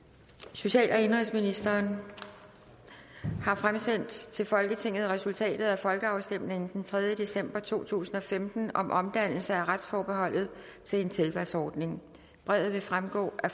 social og indenrigsministeren har fremsendt til folketinget resultatet af folkeafstemningen den tredje december to tusind og femten om omdannelse af retsforbeholdet til en tilvalgsordning brevet vil fremgå af